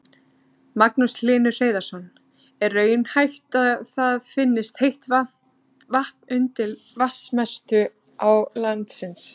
Magnús Hlynur Hreiðarsson: Er raunhæft að það finnist heitt vatn undir vatnsmestu á landsins?